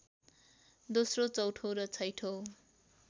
दोस्रो चौँथो र छैठौँ